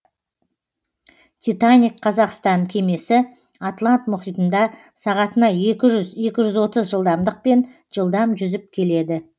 титаник қазақстан кемесі атлант мұхитында сағатына екі жүз екі жүз отыз жылдамдықпен жылдам жүзіп келеді